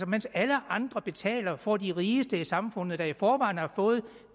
mens alle andre betaler får de rigeste i samfundet der i forvejen har fået